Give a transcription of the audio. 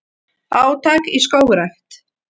Átak í skógrækt